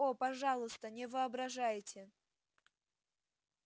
о пожалуйста не воображайте